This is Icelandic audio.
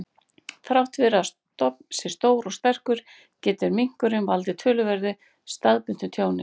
Þrátt fyrir að stofn sé stór og sterkur, getur minkurinn valdið töluverðu staðbundnu tjóni.